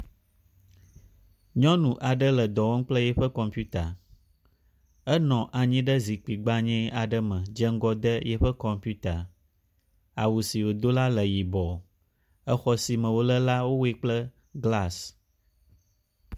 Nyɔnu aɖe le dɔ wɔm kple yiƒe kɔmpita. Enɔ anyi ɖe zikpui gbanye aɖe me de ŋgɔ de eƒe kɔmpita. Awu si wodo la le yibɔ, exɔ si me wo le la wowɔe kple glasi.